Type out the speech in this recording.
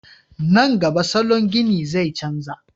Nan gaba salon gini zai canja